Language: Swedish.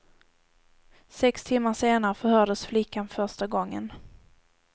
Sex timmar senare förhördes flickan första gången.